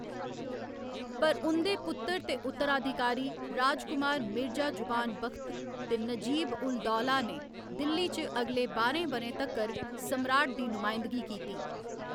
पर उं'दे पुत्तर ते उत्तराधिकारी राजकुमार मिर्जा जुवान बख़्त ते नजीब उल दौला ने दिल्ली च अगले बाह्‌रें ब'रें तक्कर सम्राट दी नुमायंदगी कीती।